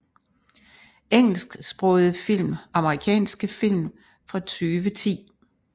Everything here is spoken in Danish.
Engelsksprogede film Amerikanske film fra 2010